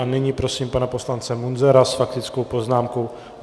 A nyní prosím pana poslance Munzara s faktickou poznámkou.